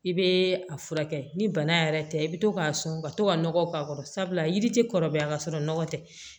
I bɛ a furakɛ ni bana yɛrɛ tɛ i bɛ to k'a sɔn ka to ka nɔgɔ k'a kɔrɔ sabula yiri tɛ kɔrɔbaya ka sɔrɔ nɔgɔ tɛ